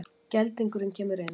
Geldingurinn kemur inn.